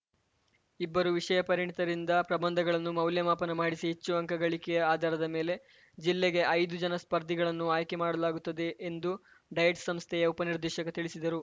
ಇಬ್ಬರು ವಿಷಯ ಪರಿಣಿತರಿಂದ ಪ್ರಬಂಧಗಳನ್ನು ಮೌಲ್ಯಮಾಪನ ಮಾಡಿಸಿ ಹೆಚ್ಚು ಅಂಕ ಗಳಿಕೆಯ ಆಧಾರದ ಮೇಲೆ ಜಿಲ್ಲೆಗೆ ಐದು ಜನ ಸ್ಪರ್ಧಿಗಳನ್ನು ಆಯ್ಕೆ ಮಾಡಲಾಗುತ್ತದೆ ಎಂದು ಡಯಟ್‌ ಸಂಸ್ಥೆಯ ಉಪನಿರ್ದೇಶಕ ತಿಳಿಸಿದರು